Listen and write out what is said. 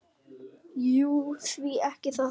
Jú, því ekki það?